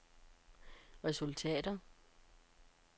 resultater